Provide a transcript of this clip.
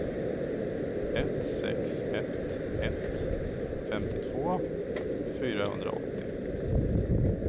ett sex ett ett femtiotvå fyrahundraåttio